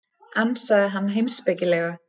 ansaði hann heimspekilega.